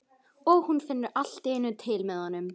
Og hún finnur allt í einu til með honum.